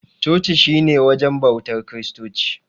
Coci shi ne wajen bautar kiristoci.